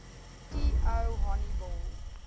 t o honiball